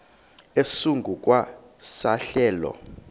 esingu kwa sehlelo